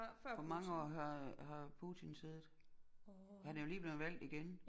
Hvor mange år har har Putin siddet han er jo lige blevet valgt igen